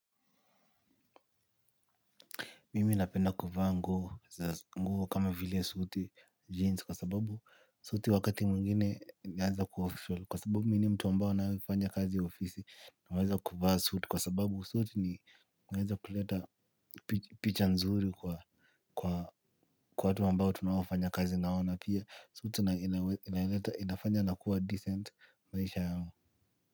Mimi napenda kuvaa nguo kama vile suti kwa sababu suti wakati mwingine inaeza kuwa official kwa sababu mimi ni mtu ambao anayefanya kazi ya ofisi naweza kuvaa suti kwa sababu si eti inaweza kuleta picha nzuri kwa kwa kwa watu ambao tunaofanya kazi na wao na pia suits inaleta inafanya nakuwa decent maisha yao.